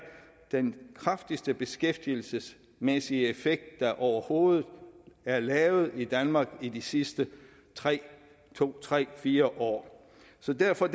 den kraftigste beskæftigelsesmæssige effekt der overhovedet er lavet i danmark i de sidste to tre fire år så derfor